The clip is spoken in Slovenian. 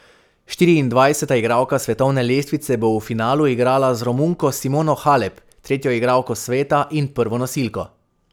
Štiriindvajseta igralka svetovne lestvice bo v finalu igrala z Romunko Simono Halep, tretjo igralko sveta in prvo nosilko.